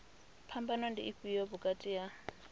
phambano ndi ifhio vhukati ha